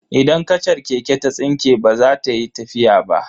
Idan kachar keke ta tsinke baza ta yi tafiya ba.